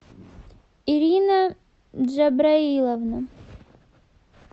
ирина джабраиловна